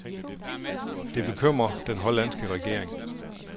Det bekymrer den hollandske regering.